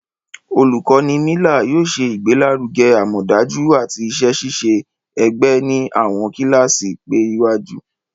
Olukọni Miller yóò ṣe igbelaruge amọdaju ati iṣẹ-ṣiṣe ẹgbẹ ni awọn kilasi PE iwaju.